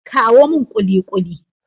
kawo min kulikuli!